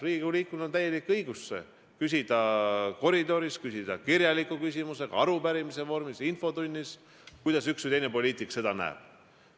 Riigikogu liikmel on täielik õigus küsida koridoris, esitada kirjalik küsimus, küsida arupärimise vormis ja infotunnis, kuidas üks või teine poliitik seda näeb.